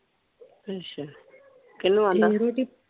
ਅੱਛਾ ਕਿੰਨੂੰ ਆਂਦਾ? .